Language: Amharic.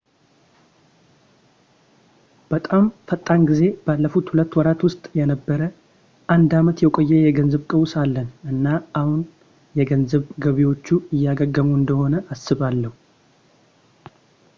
በጣም ፈጣን ጊዜው ባለፉት ሁለት ወራት ውስጥ የነበረ አንድ ዓመት የቆየ የገንዘብ ቀውስ አለን እና አሁን የገንዘብ ገበያዎቹ እያገገሙ እንደሆን አስባለሁ